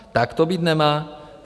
Tak to být nemá.